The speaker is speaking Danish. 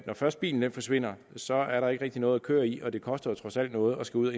når først bilen forsvinder så er der ikke rigtig noget at køre i og det koster jo trods alt noget at skulle